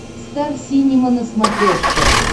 стар синема на смотрешке